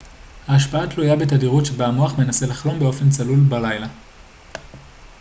ההשפעה תלויה בתדירות שבה המוח מנסה לחלום באופן צלול בלילה